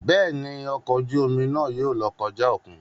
Béèni, ọkọ oju omi náà yóò lọ kọja okùn